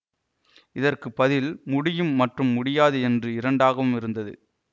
இதற்கு பதில் முடியும் மற்றும் முடியாது என்று இரண்டாகவும் இருந்தது